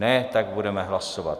Ne, tak budeme hlasovat.